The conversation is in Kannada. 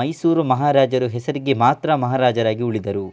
ಮೈಸೂರು ಮಹಾರಾಜರು ಹೆಸರಿಗೆ ಮಾತ್ರ ಮಹಾರಾಜರಾಗಿ ಉಳಿದರು